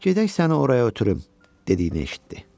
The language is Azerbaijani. "Gedək səni oraya ötürüm", dediyini eşitdi.